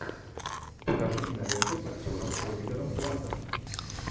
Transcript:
покажи киноленту с актером оливером платтом